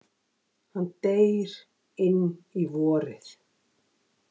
Hann deyr inn í vorið.